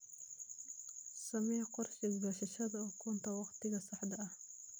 Samee qorshe goosashada ukunta wakhtiga saxda ah.